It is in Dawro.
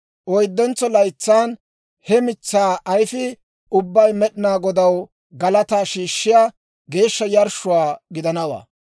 Oyddentso laytsaan he mitsaa ayfii ubbay Med'inaa Godaw galataa shiishshiyaa geeshsha yarshshuwaa gidanawaa.